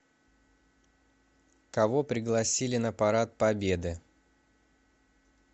кого пригласили на парад победы